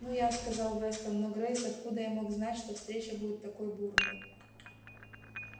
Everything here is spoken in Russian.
ну я сказал вестон но грейс откуда я мог знать что встреча будет такой бурной